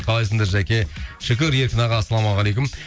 қалайсыңдар жаке шүкір еркін аға ассалаумағалейкум